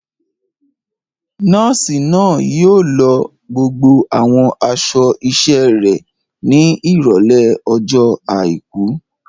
Nọ́ọ̀sì náà yóò lọ gbogbo àwọn aṣọ iṣẹ́ rẹ̀ ní Ìrọ̀lẹ́ ọjọ́ àìkú.